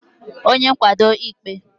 onye nkwado ịkpe